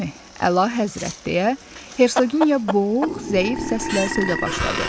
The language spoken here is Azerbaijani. Əlahəzrət deyə Hersoqinya boğuq, zəif səslə sözə başladı.